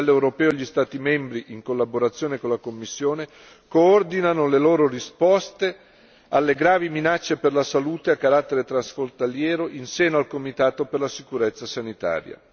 A livello europeo gli Stati membri, in collaborazione con la Commissione, coordinano le loro risposte alle gravi minacce per la salute a carattere transfrontaliero in seno al comitato per la sicurezza sanitaria.